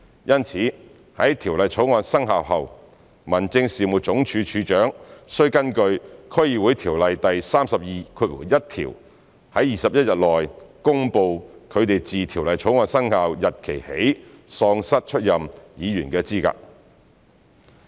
因此，在《條例草案》生效後，民政事務總署署長須根據《區議會條例》第321條在21天內，公布他們自《條例草案》生效日期起喪失出任議員的資格。